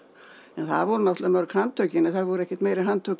það voru náttúrlega mörg handtökin en það voru ekkert meiri handtök